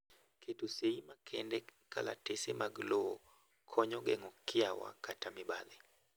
keto sei makendee kalatese mag lowo e konyo geng'o kiawa kata mibadhi